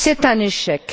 C'est un échec.